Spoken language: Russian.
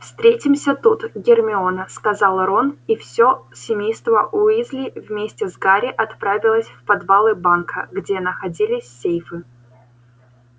встретимся тут гермиона сказал рон и всё семейство уизли вместе с гарри отправилось в подвалы банка где находились сейфы